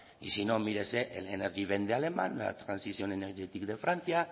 y si no mírese el energiewende de alemania la transition énergétique de francia